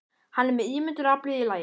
Hann er með ímyndunaraflið í lagi.